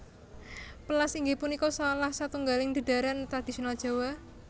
Pèlas inggih punika salah satunggaling dhedharan tradisional Jawa